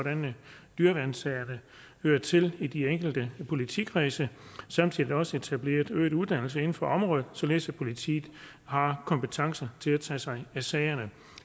dyreværnssagerne hører til i de enkelte politikredse samtidig også etableret øget uddannelse inden for området således at politiet har kompetencen til at tage sig af sagerne